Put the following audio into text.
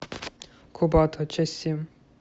курбатова часть семь